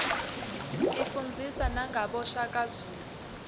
ifundzisa nagabo shaka zulu